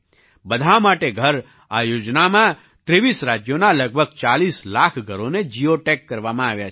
બધાં માટે ઘર આ યોજનામાં 23 રાજ્યોનાં લગભગ 40 લાખ ઘરોને જિઓટેગ કરવામાં આવ્યાં છે